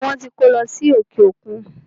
Ẹbí wọn tí kó lọ sí òkè òkun.